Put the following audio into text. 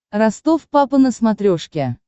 ростов папа на смотрешке